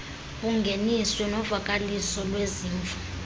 bungeniswe novakaliso lwezimvo